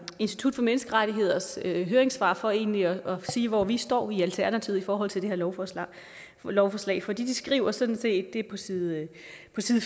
institut for menneskerettigheders høringssvar for egentlig at sige hvor vi står i alternativet i forhold til det her lovforslag lovforslag for de skriver sådan set på side